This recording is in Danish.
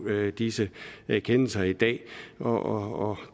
disse kendelser i dag og